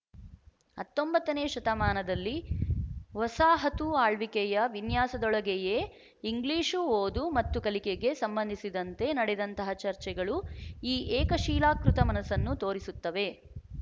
ಹತ್ತೊಂಬತ್ತ ನೇ ಶತಮಾನದಲ್ಲಿ ವಸಾಹತು ಆಳ್ವಿಕೆಯ ವಿನ್ಯಾಸದೊಳಗೆಯೇ ಇಂಗ್ಲಿಶು ಓದು ಮತ್ತು ಕಲಿಕೆಗೆ ಸಂಬಂಧಿಸಿದಂತೆ ನಡೆದಂತಹ ಚರ್ಚೆಗಳು ಈ ಏಕಶೀಲಾಕೃತ ಮನಸ್ಸನ್ನು ತೋರಿಸುತ್ತವೆ